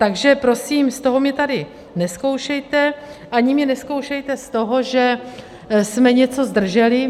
Takže prosím, z toho mě tady nezkoušejte, ani mě nezkoušejte z toho, že jsme něco zdrželi.